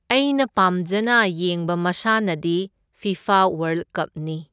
ꯑꯩꯅ ꯄꯥꯝꯖꯅ ꯌꯦꯡꯕ ꯃꯁꯥꯟꯅꯗꯤ ꯐꯤꯐꯥ ꯋꯥꯔꯜ ꯀꯞꯅꯤ꯫